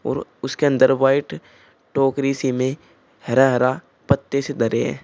और उसके अंदर वाइट टोकरी सी में हरा हरा पत्ते से धरे हैं।